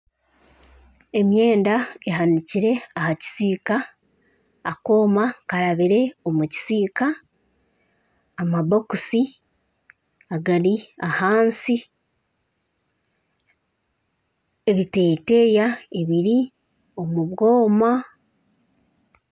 Emyenda ehanikire aha kisiika, akooma karabire omu kisiika amabokiisi agari ahansi ebiteteeyi ebiri omu bwoma